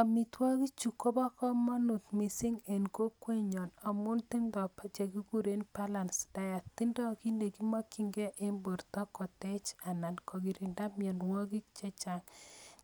Amitwogik chu, kobo komonut mising en kokwet nyon amu tindoi che kikuren balanced diet. Tindoi kiy ne kimakchinkeiy eng' borto kotech anan kokirindo mianwogik chechang'.